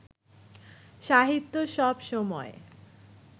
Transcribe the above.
সাহিত্য সব সময়ই